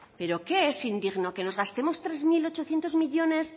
pero qué es indigno que nos gastemos tres mil ochocientos millónes